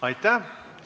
Aitäh!